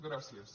gràcies